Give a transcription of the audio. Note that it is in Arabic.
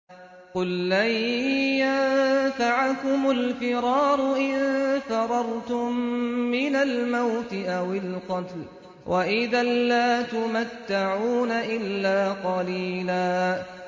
قُل لَّن يَنفَعَكُمُ الْفِرَارُ إِن فَرَرْتُم مِّنَ الْمَوْتِ أَوِ الْقَتْلِ وَإِذًا لَّا تُمَتَّعُونَ إِلَّا قَلِيلًا